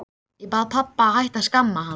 Ég bað pabba að hætta að skamma hann.